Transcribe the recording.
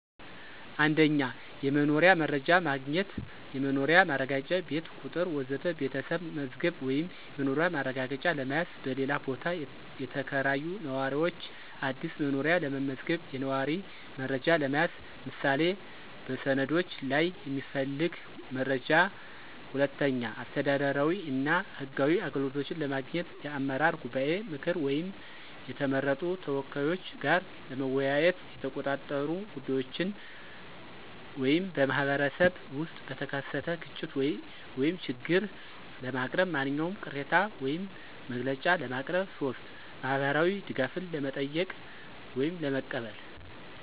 1. የመኖሪያ መረጃ ማግኘት (የመኖሪያ ማረጋገጫ፣ ቤት ቁጥር ወዘተ) ቤተሰብ መዝገብ ወይም የመኖሪያ ማረጋገጫ ለመያዝ፣ በሌላ ቦታ የተከራዩ ነዋሪዎች አዲስ መኖሪያ ለመመዝገብ፣ የነዋሪ መረጃ ለመያዝ (ምሳሌ በሰነዶች ላይ የሚፈለግ መረጃ)። 2. አስተዳደራዊ እና ህጋዊ አገልግሎቶች ለማግኘት የአመራር ጉባኤ ምክር ወይም የተመረጡ ተወካዮች ጋር ለመወያየት፣ የተቆጣጠሩ ጉዳዮችን (በማኅበረሰብ ውስጥ በተከሰተ ግጭት ወይም ችግር) ለማቅረብ፣ ማንኛውም ቅሬታ ወይም መግለጫ ለማቅረብ። 3. ማህበራዊ ድጋፍን ለመጠየቅ ወይም ለመቀበል